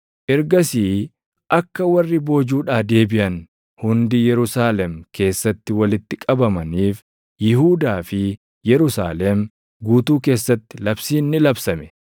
Ergasii akka warri boojuudhaa deebiʼan hundi Yerusaalem keessatti walitti qabamaniif Yihuudaa fi Yerusaalem guutuu keessatti labsiin ni labsame.